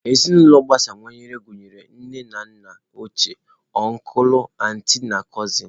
Ezinụlọ agbasawanye gụnyere nne na nna ochie, ọncụl, antị, na cụsịn.